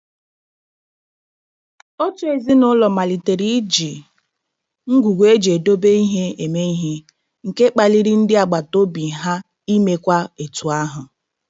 Otu ezinụụlọ malitere iji ngwugwu eji edobe ihe eme ihe, nke kpaliri ndị agbataobi ha imekwa etu ahụ.